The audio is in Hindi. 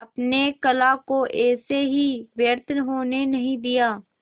अपने कला को ऐसे ही व्यर्थ होने नहीं दिया